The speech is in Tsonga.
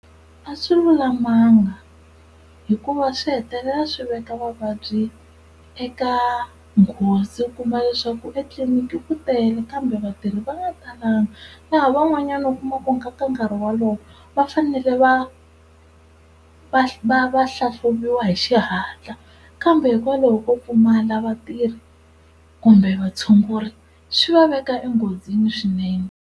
A swi lulamanga hikuva swi hetelela swi veka vavabyi eka nghozi, u kuma leswaku etliliniki ku tele kambe vatirhi va nga talanga. Laha van'wanyana u kuma ku ka nkarhi wolowo va fanele va va va va hlahluviwa hi xihatla kambe hikwalaho ko pfumala vatirhi kumbe vatshunguri swi va veka enghozini swinene.